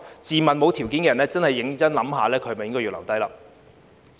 自問沒有這條件的人，的確要認真想清楚去留。